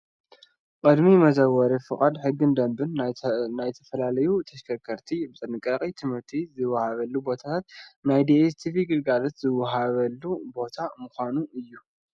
ቅድሚ መዘወሪ ፍቃድ ሕግን ደንብን ናይ ዝተፈላለዩ ተሽከርከርቲ ብጥንቃቐ ትምህርቲ ዝወሃበሉ ቦታን ናይ ዲኤስ ቲቪ ግልጋሎት ዝወሃበሉ ቦታ ምዃኑ እዩ።